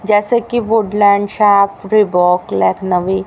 जैसा कि Woodland shop Reebok Lucknowi--